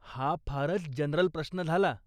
हा फारच जनरल प्रश्न झाला.